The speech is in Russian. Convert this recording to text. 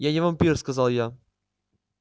я не вампир сказал я